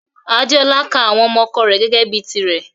Adéọlá ká àwọn ọmọ ọ̀kọ rè gẹ́gẹ bi tìrè.